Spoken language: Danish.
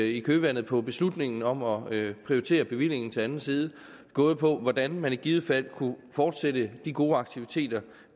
i kølvandet på beslutningen om at prioritere bevillingen til anden side gået på hvordan man i givet fald kunne fortsætte de gode aktiviteter